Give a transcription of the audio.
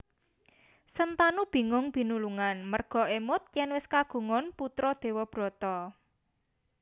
Sentanu bingung binulungan merga émut yèn wis kagungan putra Dewabrata